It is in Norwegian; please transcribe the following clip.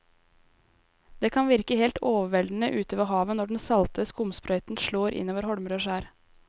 Det kan virke helt overveldende ute ved havet når den salte skumsprøyten slår innover holmer og skjær.